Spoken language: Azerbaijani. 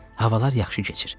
Havalar yaxşı keçir.